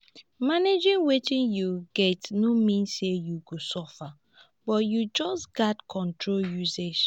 managing wetin yu get no mean say yu go suffer but yu just gats control usage